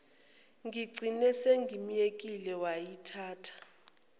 ngigcine sengimyekile wayithatha